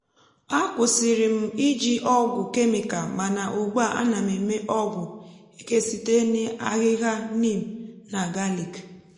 a kwusịrị m iji ọgwụ kemịkal mana ugbua ana m eme ọgwụ eke site n’ahihia neem na galik